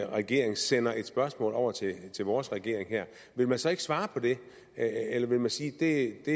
regering sendte et spørgsmål over til vores regering ville man så ikke svare på det eller ville man sige det